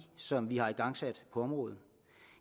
som vi har igangsat på området